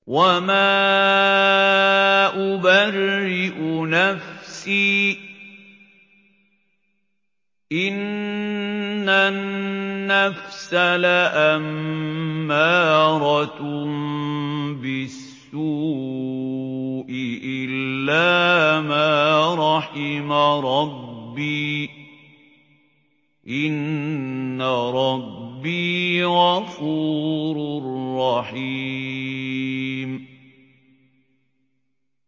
۞ وَمَا أُبَرِّئُ نَفْسِي ۚ إِنَّ النَّفْسَ لَأَمَّارَةٌ بِالسُّوءِ إِلَّا مَا رَحِمَ رَبِّي ۚ إِنَّ رَبِّي غَفُورٌ رَّحِيمٌ